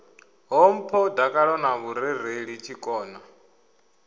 ṱhompho dakalo na vhurereli tshikona